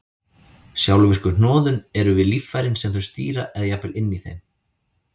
Sjálfvirku hnoðun eru við líffærin sem þau stýra eða jafnvel inni í þeim.